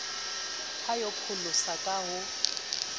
ya ho pholosa ka ho